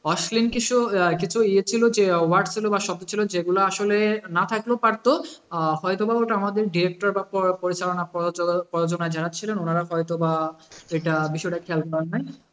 অশ্লীল কিছু ইয়ে ইয়ে ছিল যে word ছিল বা শব্দ ছিল, যেগুলা আসলে না থাকলেও পারতো আহ হয়তোবা ওটা আমাদের director পরিচালনা করবার জন্য যারা ছিলেন, ওনারা হয়তোবা এইটা বিষয়টা খেয়াল করেন নাই।